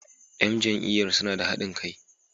‘Yan jam’iyyar suna da hadin kai.